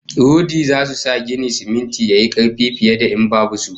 Rodi zasu sa ginin siminti yayi karfi fiye da in babu su